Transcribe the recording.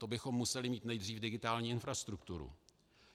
To bychom museli mít nejdřív digitální infrastrukturu.